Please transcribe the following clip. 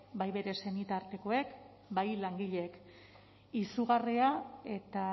bai bere senitartekoek bai langileek izugarria eta